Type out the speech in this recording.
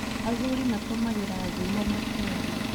Athuri matũmagĩra thimo makĩaria